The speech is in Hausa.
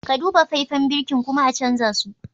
Ka Duba faifen birkin kuma a canza su.